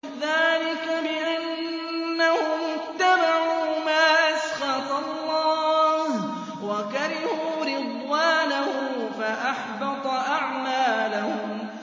ذَٰلِكَ بِأَنَّهُمُ اتَّبَعُوا مَا أَسْخَطَ اللَّهَ وَكَرِهُوا رِضْوَانَهُ فَأَحْبَطَ أَعْمَالَهُمْ